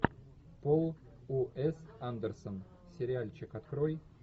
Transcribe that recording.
пол уэс андерсон сериальчик открой